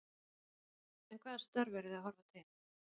Þóra Kristín: En hvaða störf eru þið að horfa til?